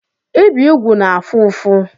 Ibi úgwù na-afụ ụfụ.